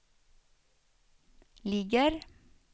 ligger